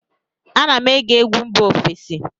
Ana m ege egwu mba ofesi